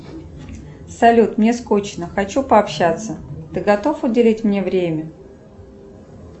салют мне скучно хочу пообщаться ты готов уделить мне время